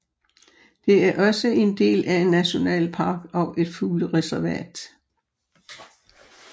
Det er også en del af en nationalpark og et fuglereservat